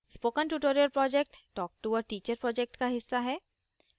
spoken tutorial project talktoa teacher project का हिस्सा है